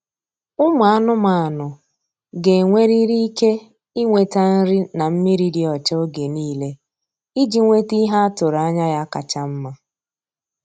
Ụmụ anụmanụ ga-enwerịrị ike ịnweta nri na mmiri dị ọcha oge niile iji nwete ihe atụrụ anya ya kacha mma.